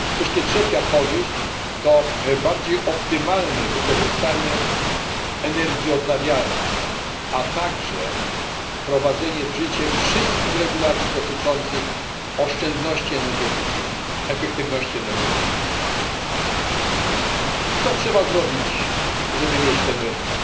Wreszcie trzecia korzyść to bardziej optymalne wykorzystanie energii odnawialnej, a także wprowadzenie w życie wszystkich regulacji dotyczących oszczędności energetycznych, efektywności energetycznej. Co trzeba zrobić, żeby stworzyć ten wspólny rynek?